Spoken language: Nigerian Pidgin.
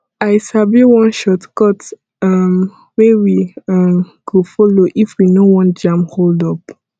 i sabi one shortcut um wey we um go folo if we no wan jam holdup